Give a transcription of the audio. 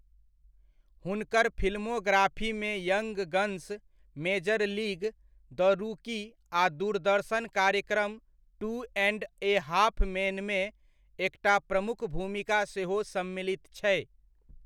हुनकर फिल्मोग्राफीमे young guns, major league, the rookie आ दूरदर्शन कार्यक्रम टू एण्ड ए हाफ़ मेनमे एकटा प्रमुख भूमिका सेहो सम्मिलित छै।